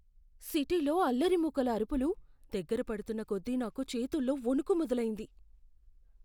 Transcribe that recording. సిటీలో అల్లరి మూకల అరుపులు దగ్గర పడుతున్నకొద్దీ నాకు చేతుల్లో వణుకు మొదలయింది.